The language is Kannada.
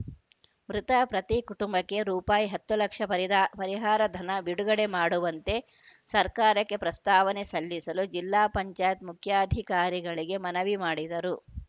ಮೃತ ಪ್ರತಿ ಕುಟುಂಬಕ್ಕೆ ರೂಪಾಯಿ ಹತ್ತು ಲಕ್ಷ ಪರಿದ ಪರಿಹಾರಧನ ಬಿಡುಗಡೆ ಮಾಡುವಂತೆ ಸರ್ಕಾರಕ್ಕೆ ಪ್ರಸ್ತಾವನೆ ಸಲ್ಲಿಸಲು ಜಿಲ್ಲಾ ಪಂಚಾಯತ್ ಮುಖ್ಯಾಧಿಕಾರಿಗಳಿಗೆ ಮನವಿ ಮಾಡಿದರು